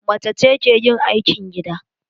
Macece ke yin aikin gida.